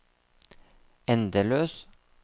endeløs